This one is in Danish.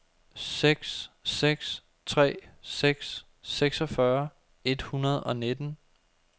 seks seks tre seks seksogfyrre et hundrede og nitten